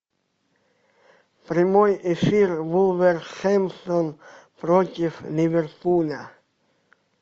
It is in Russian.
прямой эфир вулверхэмптон против ливерпуля